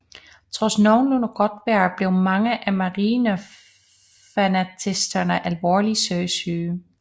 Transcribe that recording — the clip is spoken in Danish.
Trods nogenlunde godt vejr blev mange af marineinfanteristerne alvorligt søsyge